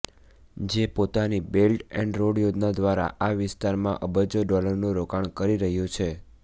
જે પોતાની belt and road યોજના દ્વારા આ વિસ્તારમાં અબજો ડોલરનું રોકાણ કરી રહ્યું છે